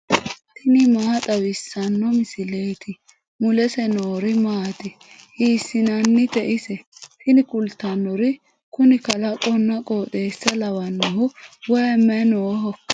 tini maa xawissanno misileeti ? mulese noori maati ? hiissinannite ise ? tini kultannori kuni kalaqonna qooxeessa lawannohu wayi mayinnihoikka